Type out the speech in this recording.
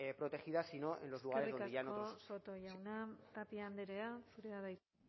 protegidas sino en los lugares donde eskerrik asko soto jauna tapia andrea zurea da hitza